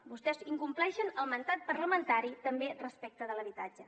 vostès incompleixen el mandat parlamentari també respecte de l’habitatge